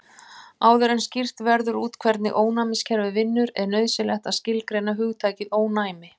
Áður en skýrt verður út hvernig ónæmiskerfið vinnur er nauðsynlegt að skilgreina hugtakið ónæmi.